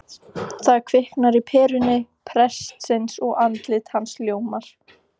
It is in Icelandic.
Það kviknar á peru prestsins og andlit hans ljómar